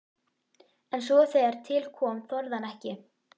En svo þegar til kom þorði hann ekki.